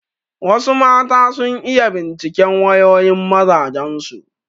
Wasu mata sun iya binciken wayoyin mazajen su.